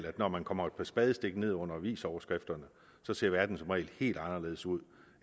at når man kommer et par spadestik ned under avisoverskrifterne ser verden som regel helt anderledes ud